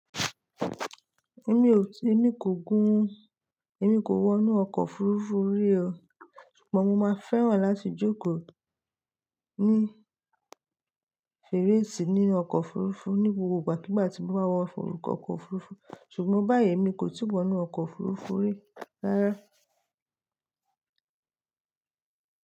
Èmi ò ti, èmi kò gún, èmi kò wọ inú ọkọ̀ òfuurufú rí o. Ṣùgbọ́n mo máa fẹ́ràn láti jókòó ní fèrèsé ní ọkọ̀ òfuurufú ní gbogbo ìgbà kígbà tí mo bá wọ ọkọ̀ òfuurufú. Ṣùgbọ́n báyìí èmi kò tíì wọ inú ọkọ̀ òfuurufú rí rárá.